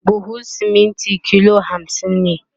buhun siminti kilo hamsin ne